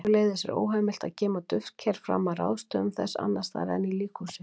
Sömuleiðis er óheimilt að geyma duftker fram að ráðstöfun þess annars staðar en í líkhúsi.